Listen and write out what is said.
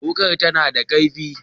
Wukar ta na da kaifi